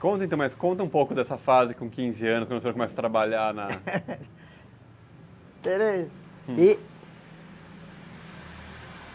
Conta então, mas conta um pouco dessa fase com quinze anos, quando o senhor começa a trabalhar na... Peraí.